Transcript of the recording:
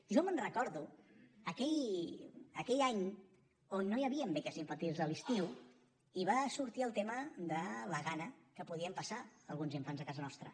jo me’n recordo aquell any on no hi havien beques infantils a l’estiu i va sortir el tema de la gana que podien passar alguns infants a casa nostra